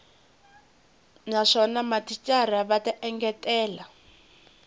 naswona mathicara va ta engetela